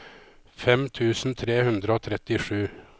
fem tusen tre hundre og trettisju